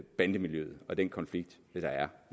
bandemiljøet og den konflikt der er